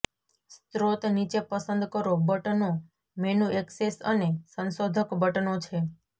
સ્ત્રોત નીચે પસંદ કરો બટનો મેનુ ઍક્સેસ અને સંશોધક બટનો છે